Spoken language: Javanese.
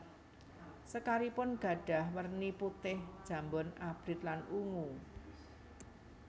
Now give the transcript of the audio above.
Sekaripun gadhah werni putih jambon abrit lan ungu